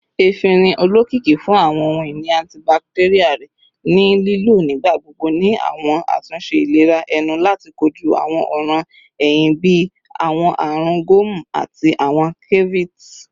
Efinrin, olokiki fun awọn ohun-ini antibacterial rẹ, ni lilo nigbagbogbo ni awọn atunṣe ilera ẹnu lati koju awọn ọran ehín bii awọn arun gomu ati awọn cavities